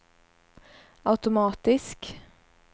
automatisk